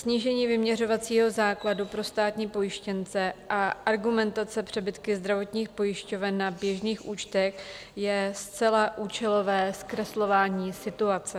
Snížení vyměřovacího základu pro státní pojištěnce a argumentace přebytky zdravotních pojišťoven na běžných účtech je zcela účelové zkreslování situace.